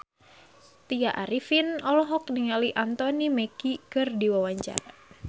Tya Arifin olohok ningali Anthony Mackie keur diwawancara